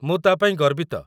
ମୁଁ ତା' ପାଇଁ ଗର୍ବିତ।